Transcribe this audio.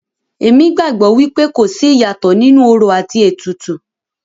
Èmi gbàgbọ́ wípé kò sí ìyàtọ̀ nínú orò àti ètùtù.